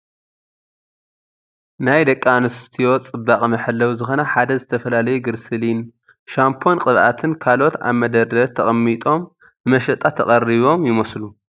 ናይ ደቂ ኣንስትዩ ፅባቀ መሐለዊ ዝኮነ ሓደ ዝተፈላለዩ ግገርሲሊን ኝ፣ ሻምፖን ቅብኣትን ፣ ካልኦት ኣብ መደርደሪ ተቀሚጦም ንመሸጣ ተቀሪቦም ይመስሉ።